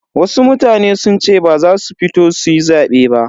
Wasu mutane sun ce ba za su fito suyi zabe ba.